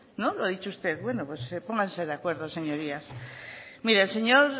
lo ha dicho usted pues pónganse de acuerdo señorías